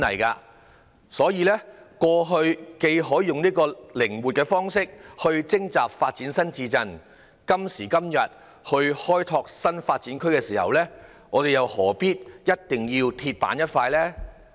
既然過去可以採取靈活的方式徵地發展新市鎮，今時今日開拓新發展區時，又何必要像"鐵板"一塊呢？